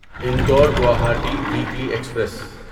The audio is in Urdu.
Indore Guwahati weekly express